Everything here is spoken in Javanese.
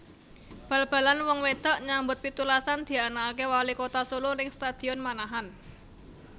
Bal balan wong wedok nyambut pitulasan dianaake wali kota Solo ning Stadion Manahan